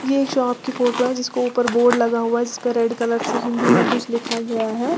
ये एक शॉप की फोटो है जिसको ऊपर बोर्ड लगा हुआ है। जिस पर रेड कलर से हिंदी में कुछ लिखा गया है।